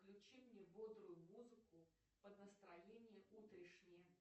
включи мне бодрую музыку под настроение утрешнее